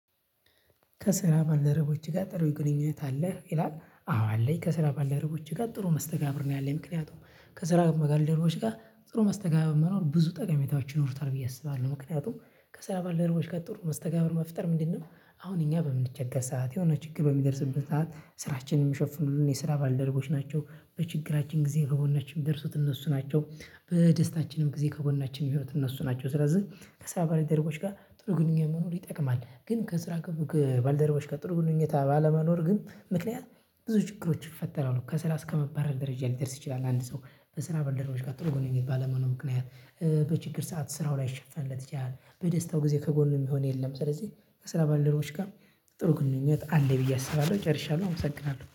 ከስራ ባልደረቦችህ ጋር ጥሩ ግንኙነት አለህ ይላል አዎ አለኝ ከስራ ባልደረቦቼ ጋር ጥሩ መስተጋብር ነው ያለኝ ምክንያቱም ከስራ ጋር ባልደረቦቼ ጋር ጥሩ መስተጋብር መኖር ብዙ ጠቀሜታዎች ይኖሩታል ብዬ አስባለሁ ምክንያቱም ከስራ ባልደረቦች ጋር ጥሩ መስተጋብር መፍጠር ምንድነው? አሁን እኛ በምንቸገር ሰዓት፤ የሆነ ችግር በሚደርስበት ሰዓት ስራችንን የሚሸፍኑልን የስራ ባልደረጎች ናቸው። በችግራችን ጊዜ ከጎናችን የሚደርሱት እነሱ ናቸው። በደስታችንም ጊዜ ከጎናችን የሚሆኑት እነሱ ናቸው። ስለዚህ ከስራ ባልደረቦች ጋር ጥሩ ግንኙነት መኖር ይጠቅማል። ግን ከስራ ባልደረቦች ጥሩ ግንኙነት ባለመኖሩ ግን ምክንያት ብዙ ችግሮችን ይፈጠራሉ። ከስራ እስከመባረር ደረጃ ሊደርስ ይችላል አንድ ሰው ከስራ ባልደረቦች ጋር ጥሩ ግንኙነት ባለመኖሩ ምክንያት። በችግር ሰዓት ስራው ላይሸፈንለት ይችላል። በደስታው ጊዜ ከጎኑ የሚሆን የለም። ስለዚህ ከስራ ባለደረቦች ጋር ጥሩ ግንኙነት አለኝ ብዬ አስባለሁ። ጨርሻለሁ። አመሰግናለሁ።